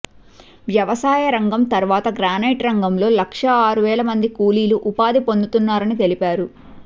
వ్యవసాయ రంగం తరువాత గ్రానైట్ రంగంలో లక్షా ఆరువేల మంది కూలీలు ఉపాధి పొందుతున్నారని తెలిపారు